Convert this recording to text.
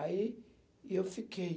Aí, eu fiquei.